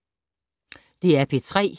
DR P3